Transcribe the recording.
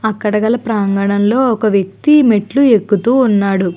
అక్కడ గల ప్రాంగణంలో ఒక వ్యక్తి మెట్లు ఎక్కుతూ ఉన్నాడు.